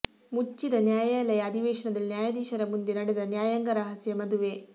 ಮುಚ್ಚಿದ ನ್ಯಾಯಾಲಯ ಅಧಿವೇಶನದಲ್ಲಿ ನ್ಯಾಯಾಧೀಶರ ಮುಂದೆ ನಡೆದ ನ್ಯಾಯಾಂಗ ರಹಸ್ಯ ಮದುವೆ